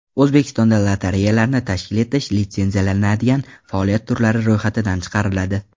O‘zbekistonda lotereyalarni tashkil etish litsenziyalanadigan faoliyat turlari ro‘yxatidan chiqariladi.